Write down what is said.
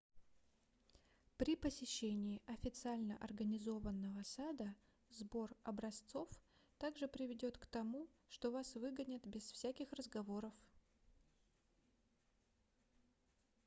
при посещении официально организованного сада сбор образцов также приведёт к тому что вас выгонят без всяких разговоров